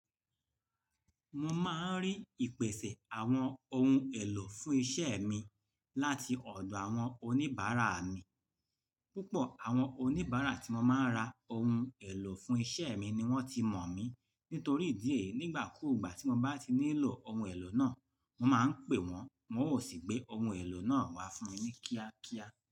Mo máa ń rí ìpèsè àwọn ohun èlò fún iṣẹ́ mi láti ọ̀dọ̀ àwọn oníbàárà mi. Púpọ̀ àwọn oníbàárà tí mo máa ń ra a ohun èlò fún iṣẹ́ mi ni wọ́n ti mọ̀ mí, nítorí idì eyi nígbà kúùgbà tí mo bá ti nílò ohun èlò náà, mo máa ń pè wọ́n, wọn ó sì gbé ohun èlò náà wá fún mi ní kíákíá.